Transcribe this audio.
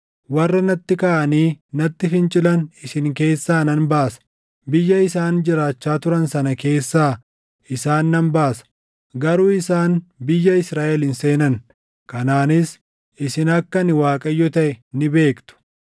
Warra natti kaʼanii natti fincilan isin keessaa nan baasa. Biyya isaan jiraachaa turan sana keessaa isaan nan baasa; garuu isaan biyya Israaʼel hin seenan. Kanaanis isin akka ani Waaqayyo taʼe ni beektu.